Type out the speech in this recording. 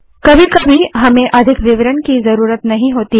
कभी कभी हमें अधिक विवरण की ज़रूरत नहीं होती